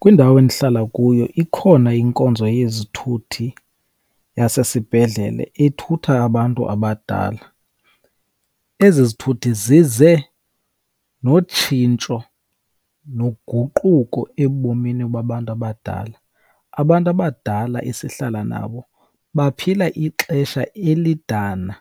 Kwindawo endihlala kuyo ikhona inkonzo yezithuthi yasesibhedlele ethutha abantu abadala. Ezi zithuthi zize notshintsho noguquko ebomini babantu abadala, abantu abadala esihlala nabo baphila ixesha elidana